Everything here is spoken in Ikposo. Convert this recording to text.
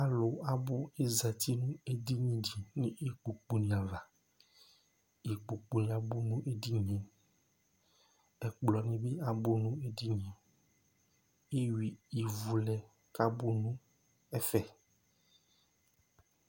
Alu abʋ azɛti nu edini di nʋ ikpoku ni ava Ikpoku ni abʋ nʋ edini ye Ɛkplɔ ni bi abʋ nʋ edini ye Eyʋa ivu lɛ kʋ abʋ nʋ ɛfɛ